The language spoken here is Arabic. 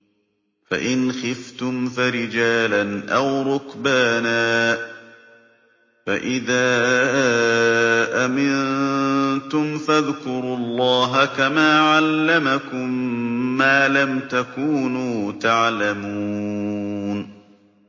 فَإِنْ خِفْتُمْ فَرِجَالًا أَوْ رُكْبَانًا ۖ فَإِذَا أَمِنتُمْ فَاذْكُرُوا اللَّهَ كَمَا عَلَّمَكُم مَّا لَمْ تَكُونُوا تَعْلَمُونَ